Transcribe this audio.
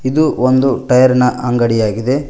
ಇದು ಒಂದು ಟೈಯರ್ ನ ಅಂಗಡಿ ಆಗಿದೆ.